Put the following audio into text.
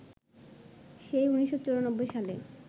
“সেই ১৯৯৪ সালে